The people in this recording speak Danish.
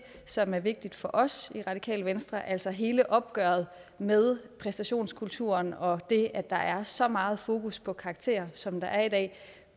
som er vigtigt for os i radikale venstre altså hele opgøret med præstationskulturen og det at der er så meget fokus på karakterer som der er i dag